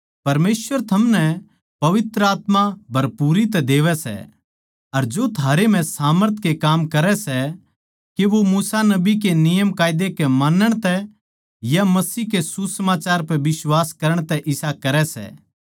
परमेसवर थमनै पवित्र आत्मा भरपूरी तै देवै सै जो थमनै पवित्र आत्मा दान करै सै अर जो थारे म्ह सामर्थ के काम करै सै के वो मूसा नबी के नियमकायदा के मानण तै या मसीह के सुसमाचार पे बिश्वास करण तै इसा करै सै